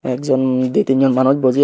ekjon ditin jon manuj buji ah.